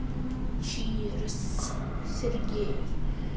чирс сергей